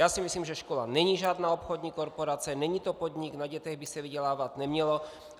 Já si myslím, že škola není žádná obchodní korporace, není to podnik, na dětech by se vydělávat nemělo.